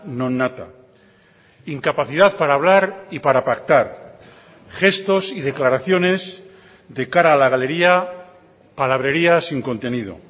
non nata incapacidad para hablar y para pactar gestos y declaraciones de cara a la galería palabrerías sin contenido